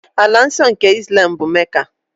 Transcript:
Ala nsọ nke Islam bụ Mecca.